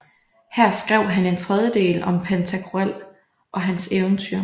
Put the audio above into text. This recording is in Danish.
Her skrev han en tredje del om Pantagruel og hans eventyr